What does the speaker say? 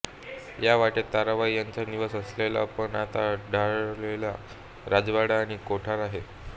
या वाटेत ताराबाई यांचा निवास असलेला पण आता ढासळलेला राजवाडा आणि कोठार आहे